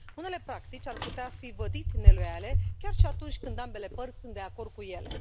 Unele practici ar putea fi vădit neloiale, chiar și atunci când ambele părți sunt de acord cu ele.